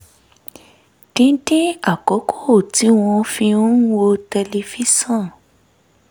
dídín àkókò tí wọ́n fi ń wo tẹlifíṣọ̀n